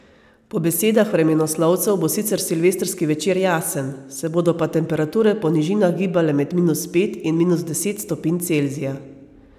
Po besedah vremenoslovcev bo sicer silvestrski večer jasen, se bodo pa temperature po nižinah gibale med minus pet in minus deset stopinj Celzija.